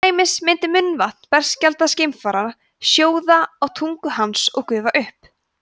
til dæmis myndi munnvatn berskjaldaðs geimfara sjóða á tungu hans og gufa upp